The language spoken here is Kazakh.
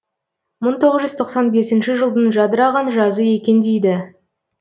мың тоғыз жүз тоқсан бесінші жылдың жадыраған жазы екен дейді